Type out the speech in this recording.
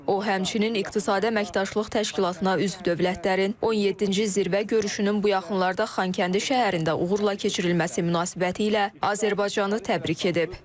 O, həmçinin İqtisadi Əməkdaşlıq Təşkilatına üzv dövlətlərin 17-ci zirvə görüşünün bu yaxınlarda Xankəndi şəhərində uğurla keçirilməsi münasibətilə Azərbaycanı təbrik edib.